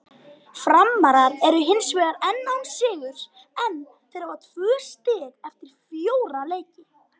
Framarar eru hinsvegar enn án sigurs en þeir hafa tvö stig eftir fjóra leiki.